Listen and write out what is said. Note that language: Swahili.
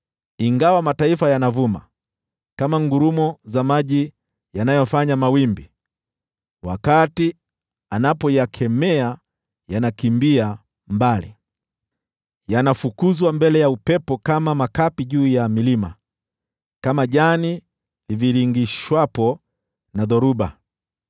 Ingawa mataifa yanavuma kama ngurumo za maji yanayofanya mawimbi, wakati anapoyakemea yanakimbia mbali, yanafukuzwa mbele ya upepo kama makapi juu ya milima, kama jani livingirishwapo na dhoruba.